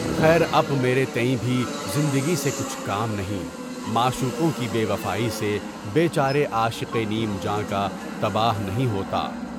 خیر اب میرے تئیں بھی زندگی سے کچھ کام نہیں، معشوقوں کی بے وفائی سے بے قرار عاشق نیم جان کا بتایا نہیں ہوتا۔